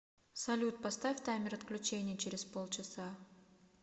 салют поставь таймер отключения через полчаса